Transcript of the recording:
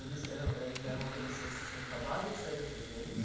Eles eram eram eles eram adolescentes que tinham acabado de sair da FEBEM?